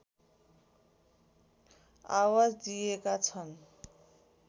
आवाज दिएका छन्